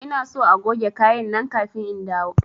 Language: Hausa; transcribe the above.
Ina son agoge kaya nan kafin in dawo!